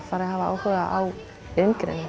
fari að hafa áhuga á iðngreinum